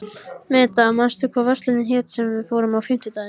Meda, manstu hvað verslunin hét sem við fórum í á fimmtudaginn?